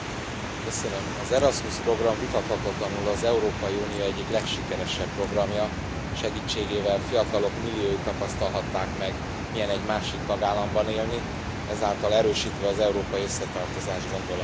Elnök Úr, az Erasmus program vitathatatlanul az Európai Unió egyik legsikeresebb programja, segítségével fiatalok milliói tapasztalhatták meg, milyen egy másik tagállamban élni, ezáltal erősítve az európai összetartozás gondolatát.